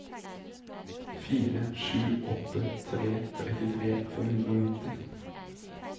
fire sju åtte tre trettitre fem hundre og nitti